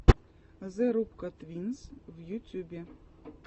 зе рубка твинс в ютюбе